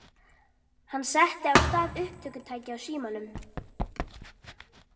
Hann setti á stað upptökutæki á símanum.